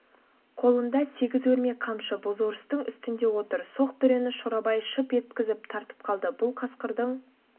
қолында сегіз өрме қамшы бозорыстың үстінде отыр соқ дүрені шорабай шьп еткізіп тартып қалды бұл қасқырдың